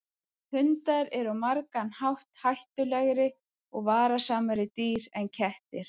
Hundar eru á margan hátt hættulegri og varasamari dýr en kettir.